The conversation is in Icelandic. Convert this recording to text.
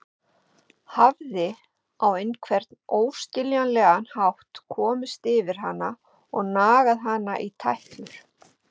Hafði á einhvern óskiljanlegan hátt komist yfir hana og nagað hana í tætlur.